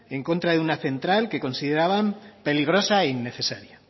en contra de una central que consideraban peligrosa e innecesaria